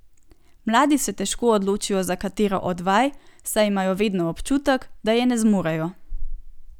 Mladi se težko odločijo za katero od vaj, saj imajo vedno občutek, da je ne zmorejo.